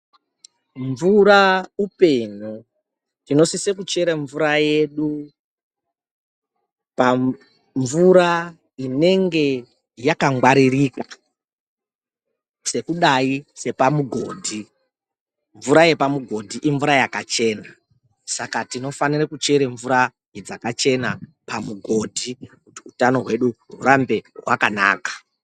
Mvura upenyu, tinosise kuchera mvura yedu pa mvura inenge yakangwaririka sekudayi sepamugodhi. Mvura yepamugodhi imvura yakachena, saka tinofanire kuchere mvura dzakachena pamugodhi kuti uthano hwedu hurambe hwakanaka.